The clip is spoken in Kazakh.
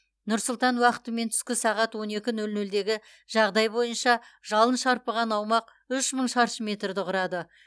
нұр сұлтан уақытымен түскі сағат он екі нөл нөлдегі жағдай бойынша жалын шарпыған аумақ үш мың шаршы метрді құрады